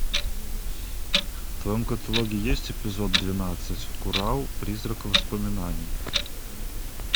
в твоем каталоге есть эпизод двенадцать курау призрак воспоминаний